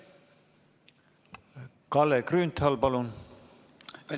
Kalle Grünthal, palun!